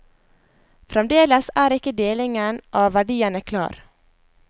Fremdeles er ikke delingen av verdiene klar.